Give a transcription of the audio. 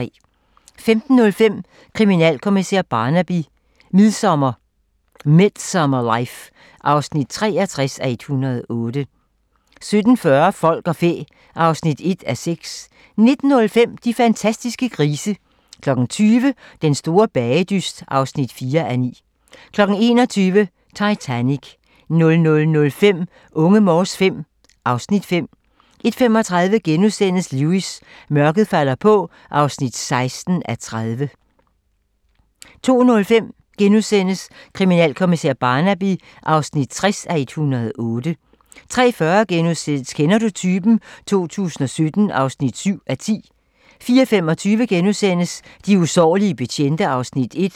15:05: Kriminalkommissær Barnaby: Midsomer Life (63:108) 17:40: Folk og fæ (1:6) 19:05: De fantastiske grise 20:00: Den store bagedyst (4:9) 21:00: Titanic 00:05: Unge Morse V (Afs. 5) 01:35: Lewis: Mørket falder på (16:30)* 02:05: Kriminalkommissær Barnaby (60:108)* 03:40: Kender du typen? 2017 (7:10)* 04:25: De usårlige betjente (Afs. 1)*